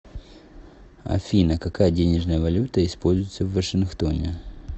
афина какая денежная валюта используется в вашингтоне